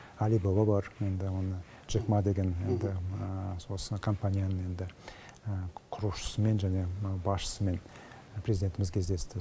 әли баба бар енді оны джек маа деген енді осы компанияның енді құрушысымен және мынау басшысымен президентіміз кездесті